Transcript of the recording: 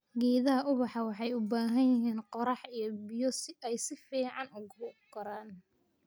Geedaha ubaxa waxay u baahan yihiin qorrax iyo biyo si ay si fiican ugu koraan.